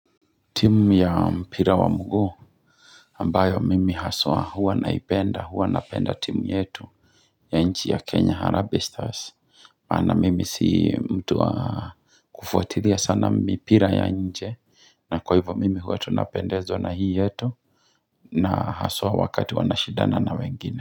Timu ya mpira wa mguu ambayo mimi haswa huwa naipenda huwa napenda timu yetu ya nchi ya kenya harambe stars, hapana mimi si mtu wa kufuatilia sana mipira ya nje na kwa hivyo mimi huwa tu napendezwa na hii yetu na haswa wakati wanashindana na wengine.